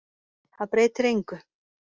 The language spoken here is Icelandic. Það breytir engu.